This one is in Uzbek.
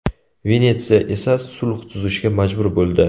Venetsiya esa sulh tuzishga majbur bo‘ldi.